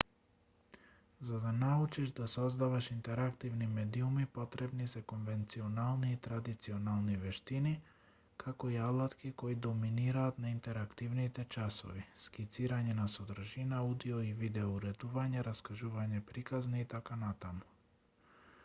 за да научиш да создаваш интерактивни медиуми потребни се конвенционални и традиционални вештини како и алатки кои доминираат на интерактивните часови скицирање на содржина аудио- и видео уредување раскажување приказни итн.